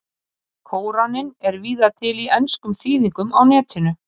Kóraninn er víða til í enskum þýðingum á Netinu.